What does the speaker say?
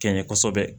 Kɛɲɛ kosɛbɛ